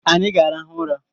Anyi ga-arahụ ụra